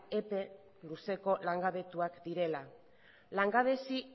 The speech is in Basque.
epe luzeko langabetuak direla langabezi